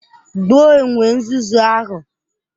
Gbuo enwe nzuzu ahụ!